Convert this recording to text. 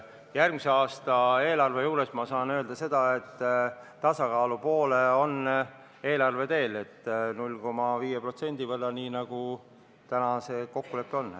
Järgmise aasta eelarve kohta saan öelda, et eelarve on tasakaalu poole teel, 0,5% võrra, nii nagu täna see kokkulepe on.